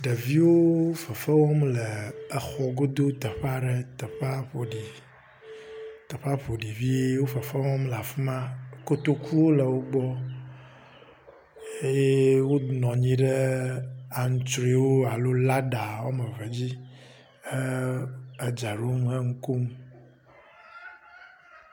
Ɖeviwo fefe wɔm le exɔ godo teƒe aɖe. Teƒea ƒo ɖi teƒea ƒoɖi vie wo fefe wɔm le afi ma. Kotokuwo le wo gbɔ eye wonɔ anyi ɖe antrɔewo alo lada wɔme eve dzi he edzea ɖom he enu kom.